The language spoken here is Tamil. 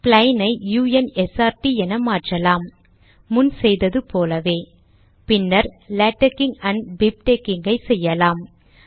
பிளெயின் ஐ u n s r ட் என மாற்றலாம்முன் செய்தது போலவேபின்னர் லேட்டெக்ஸிங் ஆண்ட் பிப்டெக்ஸிங் ஐ செய்யலாம்